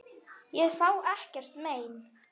Ég sá ekkert mein.